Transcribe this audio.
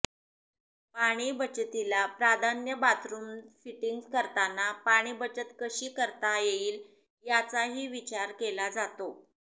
पाणी बचतीला प्राधान्य बाथरुम फिटिंग्ज करताना पाणीबचत कशी करता येईल याचाही विचार केला जातो